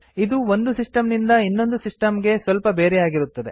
ಇದು ಒಂದು ಸಿಸ್ಟಮ್ ನಿಂದ ಇನ್ನೊಂದು ಸಿಸ್ಟಮ್ ಸ್ವಲ್ಪ ಬೇರೆಯಾಗಿರುತ್ತದೆ